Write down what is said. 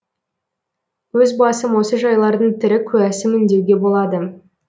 өз басым осы жайлардың тірі куәсімін деуге болады